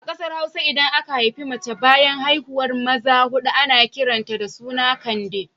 A ƙasar Hausa idan aka haifi mace bayan haihuwar maza huɗu ana kiran ta da suna Kande